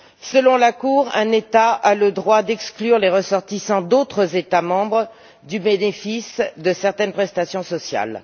Selon la Cour, un État a le droit d'exclure les ressortissants d'autres États membres du bénéfice de certaines prestations sociales.